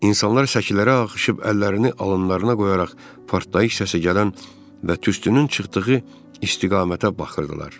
İnsanlar səkilərə axışıb əllərini alınlarına qoyaraq partlayış səsi gələn və tüstünün çıxdığı istiqamətə baxırdılar.